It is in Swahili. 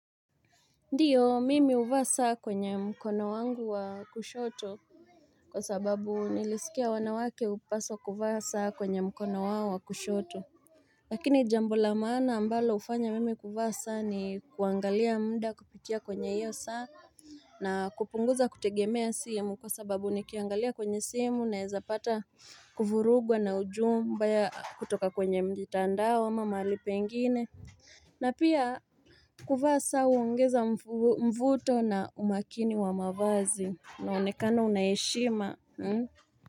Ndio mimi huvaa saa kwenye mkono wangu wa kushoto Kwa sababu nilisikia wanawake hupaswa kuvaa saa kwenye mkono wawa kushoto Lakini jambo la maana ambalo hufanya mimi kuvaa saa ni kuangalia muda kupitia kwenye iyo saa na kupunguza kutegemea simu kwa sababu nikiangalia kwenye simu naweza pata kuvurugwa na ujumbe ya kutoka kwenye mitandao ama mahali pengine na pia kuvaa saa huongeza mvuto na umakini wa mavazi unaonekana unaheshima.